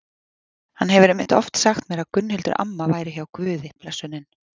Hann hefur einmitt oft sagt mér að Gunnhildur amma væri hjá Guði blessunin.